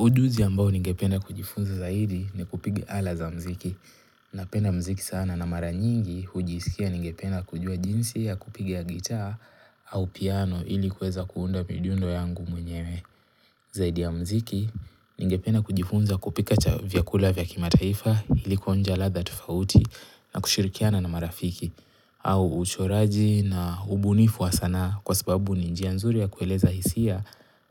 Ujuzi ambao ningependa kujifunza zaidi ni kupiga ala za muziki. Napenda muziki sana na mara nyingi hujisikia ningependa kujua jinsi ya kupigia gitaa au piano ili kuweza kuunda midundo yangu mwenyewe. Zaidi ya muziki, ningependa kujifunza kupika vyakula vya kimataifa ili kuonja ladha tofauti na kushirikiana na marafiki. Au uchoraji na ubunifu wa sanaa kwa sababu ni njia nzuri ya kueleza hisia